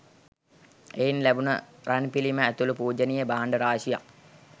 එයින් ලැබුණ රන්පිළිම ඇතුළු පූජනීය භාණ්ඩ රාශියක්